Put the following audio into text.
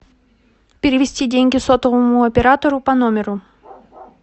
перевести деньги сотовому оператору по номеру